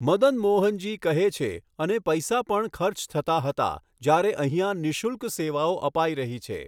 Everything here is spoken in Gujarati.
મદન મોહન જી કહે છે, અને પૈસા પણ ખર્ચ થતા હતા, જ્યારે અહિંયા નિઃશુલ્ક સેવાઓ અપાઈ રહી છે.